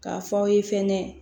K'a fɔ aw ye fɛnɛ